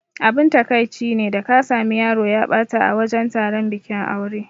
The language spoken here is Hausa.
Abin takaici ne da ka sami yaro ya ɓata a wajan taron bikin aure.